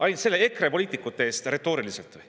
Ainult retooriliselt EKRE poliitikute eest või?